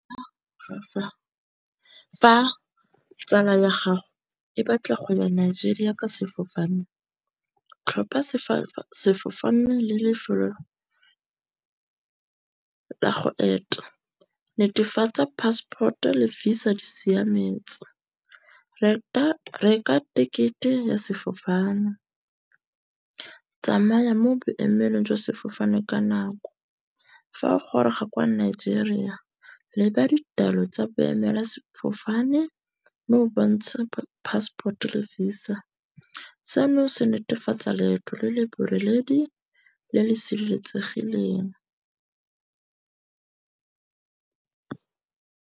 Fa tsala ya gago e batla go ya Nigeria ka sefofane tlhopha sefofane le lefelo la go eta. Netefatsa passport-o le Visa di siametse. Reka ticket-e ya sefofane. Tsamaya mo boemelong jwa sefofane ka nako. Fa o goroga kwa Nigeria leba ditaelo tsa boemela sefofane. Mme o bontshe passport-o le Visa. Seno se netefatsa leeto le le boreledi le le sireletsegileng.